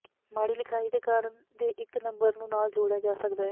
ਮਾੜੀ ਲਿਖਾਈ ਦੇ ਕਾਰਨ ਦੇ ਇੱਕ ਨੰਬਰ ਨੂੰ ਨਾਲ ਜੋੜਿਆ ਜਾ ਸਕਦਾ ਹੈ